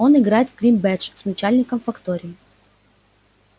он играет в криббедж с начальником фактории